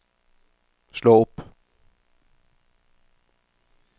slå opp